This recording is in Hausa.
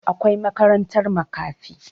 Akwai makarantar makafi